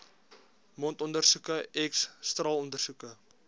mondondersoeke x straalondersoeke